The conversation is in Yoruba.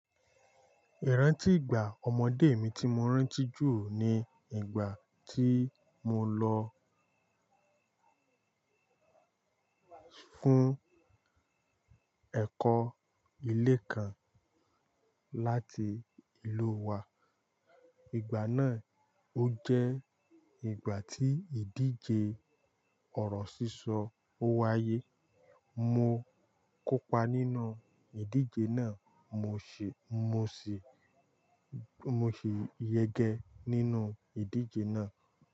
Ìrántì ìgbà ọmọdé mi ti mo rántí jù ni ìgbà tí mo lọ fún ẹ̀kọ́ ilé kan láti ìlú wa. Ìgbà náà ó jẹ́ ìgbà tí ìdíje ọ̀rọ̀ sísọ ó wáyé. Mo kópa nínú ìdíje náà, mo sì, mo sì, mo sì yẹgẹ nínú ìdíje náà.